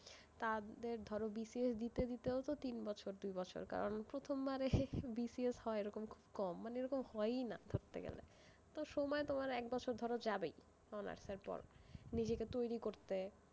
তাদের ধরো BCS দিতে দিতেও তো তিন বছর, দুই বছর, কারণ প্রথম বারে BCS হয় এরম খুব কম, মানে এরকম হয়ই না ধরতে গেলে, তো সময় তোমার এক বছর ধরো যাবেই, নিজেকে তৈরি করতে,